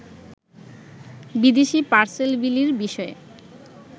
বিদেশী পার্সেল বিলির বিষয়ে